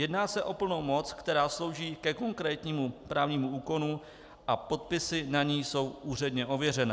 Jedná se o plnou moc, která slouží ke konkrétnímu právnímu úkonu a podpisy na ní jsou úředně ověřené.